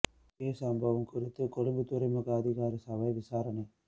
தீ சம்பவம் குறித்து கொழும்பு துறை முக அதிகார சபை விசாரணை